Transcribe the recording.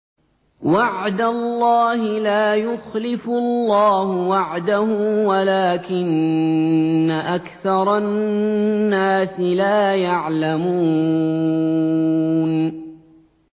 وَعْدَ اللَّهِ ۖ لَا يُخْلِفُ اللَّهُ وَعْدَهُ وَلَٰكِنَّ أَكْثَرَ النَّاسِ لَا يَعْلَمُونَ